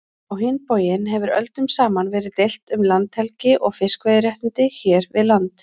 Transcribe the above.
Á hinn bóginn hefur öldum saman verið deilt um landhelgi og fiskveiðiréttindi hér við land.